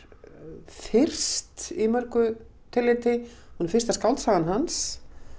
fyrst í mörgu tilliti hún er fyrsta skáldsagan hans